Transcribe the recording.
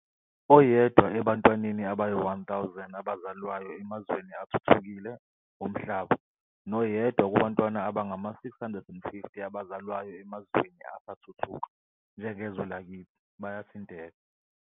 "Oyedwa ebantwaneni abayi-1000 abazalwayo emazweni athuthukile omhlaba noyedwa kubantwana abangama-650 abazalwayo emazweni asathuthuka, njengezwe lakithi, bayathinteka.